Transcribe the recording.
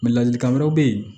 ladilikan wɛrɛ be yen